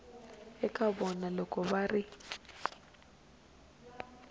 eka vana loko va ri